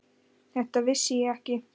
Þetta vissi ég ekki.